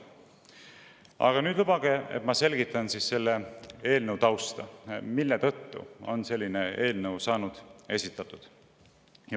Aga nüüd lubage, et ma selgitan selle eelnõu tausta ja seda, miks selline eelnõu on esitatud.